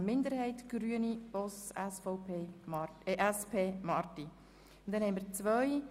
FiKo-Minderheit / Grüne [Boss, Saxeten], SP-JUSO-PSA [Marti, Bern] – Nr. 1)